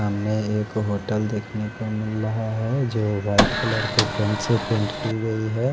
सामने एक होटल देख नेको मिल रहा है जो वाइट कलर की पैंट से पैंट की गयी है।